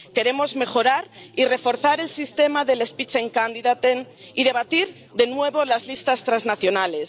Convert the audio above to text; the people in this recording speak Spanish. Queremos mejorar y reforzar el sistema del spitzenkandidaten y debatir de nuevo las listas transnacionales.